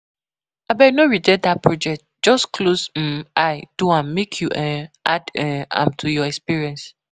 Abeg no reject dat project, just close um eye do am make you um add um am to your experience